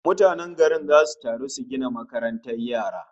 Mutanen garin zasu taru su gina makarantar yara